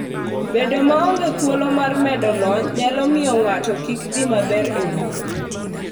Bedo maonge thuolo mar medo lony nyalo miyo ng'ato kik dhi maber e wuoth.